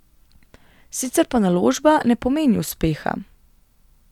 Sicer pa naložba ne pomeni uspeha.